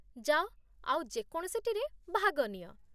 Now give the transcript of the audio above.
ଯାଅ ଆଉ ଯେ କୌଣସିଟିରେ ଭାଗ ନିଅ